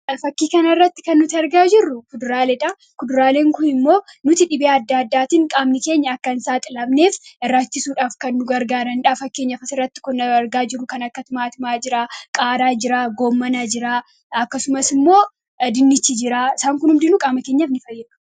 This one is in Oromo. fakkii kan irratti kan nuti argaa jirru kuduraaledhaa kuduraaleen kun immoo nuti dhibee adda addaatiin qaamni keenya akkan isaa xilafneef irraachisuudhaaf kandu gargaa dandhaa fakkiinyafasirratti kunna argaa jiru kan akkatmaatimaa jiraa qaaraa jiraa goommanaa jiraa akkasumas immoo dinichi jiraa isaan kun humdinuu qaamakeenyaaf ni fayyea